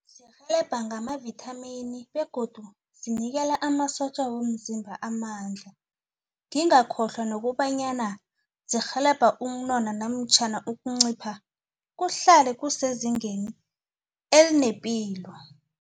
Zirhelebha ngama-Vitamin begodu zinikela amasotja womzimba amandla ngingakhohlwa nokobanyana zirhelebha ukunona namtjhana ukuncipha kuhlale kusezingeni elinepilo.